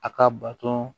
A ka bato